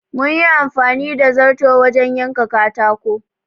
Mun yi amfani da zarto wajen yanka katako.